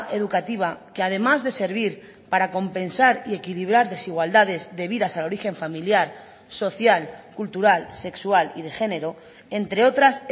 educativa que además de servir para compensar y equilibrar desigualdades debidas al origen familiar social cultural sexual y de género entre otras